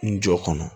N jɔ kɔnɔ